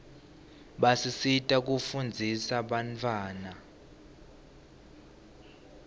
basisita kufundzisa bantawana